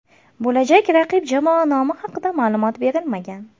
Bo‘lajak raqib jamoa nomi haqida ma’lumot berilmagan.